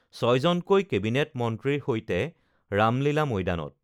ছয়জনকৈ cabinet মন্ত্ৰীৰ সৈতে ৰামলীলা মৈদানত